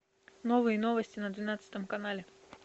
новые новости на двенадцатом канале